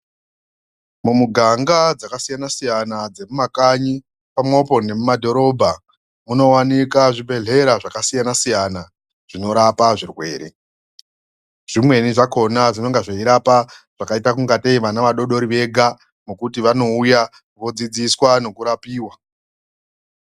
Mumuganga dzakasiyana-siyana, dzemumakanyi pamwepo nemumadhorobha. Munovanika zvibhedhlera zvakasiyana-siyana zvinorapa zvirwere. Zvimweni zvakona zvinenge zveirapa zvakaita kunga tei vana vadodori vega nokuti vanouya vodzidziswa nekurapiva.